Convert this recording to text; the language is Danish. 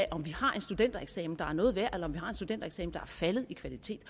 af om vi har en studentereksamen der er noget værd eller om vi har en studentereksamen der er faldet i kvalitet